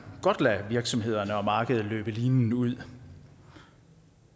godt lade virksomhederne og markedet løbe linen ud